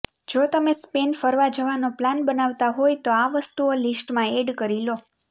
જો તમે સ્પેન ફરવા જવાનો પ્લાન બનાવતા હોવ તો આ વસ્તુઓ લિસ્ટમાં એડ કરી લો